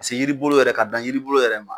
Se yiri bolo yɛrɛ ka dan yiribolo yɛrɛ ma